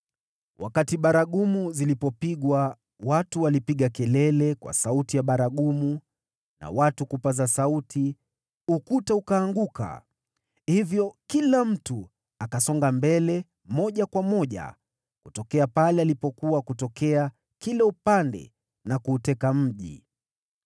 Wakati baragumu zilipopigwa, watu walipiga kelele, na katika sauti ya baragumu, na watu kupaza sauti, ukuta ukaanguka; hivyo kila mtu akapanda akiendelea mbele na kuuteka mji.